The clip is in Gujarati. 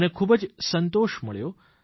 મને ખૂબ જ સંતોષ મળ્યો